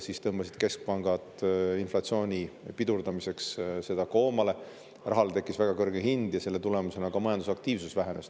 Siis tõmbasid keskpangad inflatsiooni pidurdamiseks seda koomale, rahale tekkis väga kõrge hind ja selle tulemusena ka majandusaktiivsus vähenes.